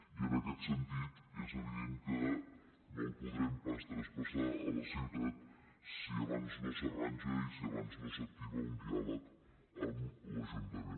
i en aquest sentit és evident que no el podrem pas traspassar a la ciutat si abans no s’arranja i si abans no s’activa un diàleg amb l’ajuntament